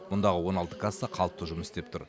мұндағы он алты касса қалыпты жұмыс істеп тұр